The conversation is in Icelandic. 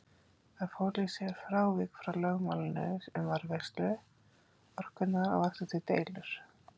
Það fól í sér frávik frá lögmálinu um varðveislu orkunnar og vakti því deilur.